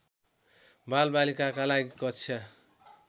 बालबालिकाका लागि कक्षा